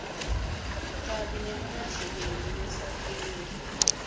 kabi nekungahleleki kwesakhiwo